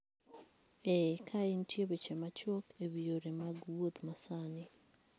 Ee, kae nitie weche machuok e wi yore mag wuoth masani: